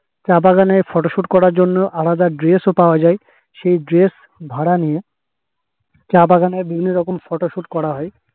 চা বাগানে photo shoot করার জন্য আলাদা dress ও পাওয়া যাই সেই dress ভাড়া নিয়ে চা বাগানে বিভিন্ন রকম photo shoot করা hoi হয়